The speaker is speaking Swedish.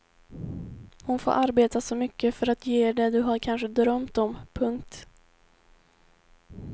Hon får arbeta så mycket för att ge er det du har kanske drömt om. punkt